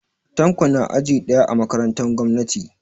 Tanko na aji ɗaya a makarantan gwamnati